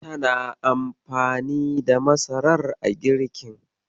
Tana anfani da masarar a girkin.